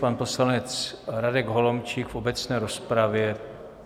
Pan poslanec Radek Holomčík v obecné rozpravě.